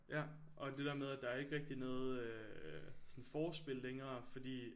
Ja og det der med at der er ikke rigtig noget øh sådan forspil længere fordi